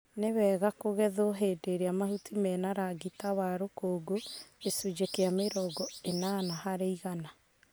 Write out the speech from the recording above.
nĩmwega kũgethwo hĩndĩ ĩrĩa mahuti mena rangi ta wa rũkũngũ gĩcunjĩ kĩa mĩrongo ĩnana harĩ igana.